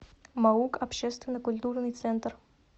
маук общественно культурный центр